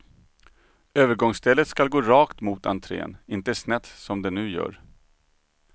Övergångsstället skall gå rakt mot entrén, inte snett som den nu gör.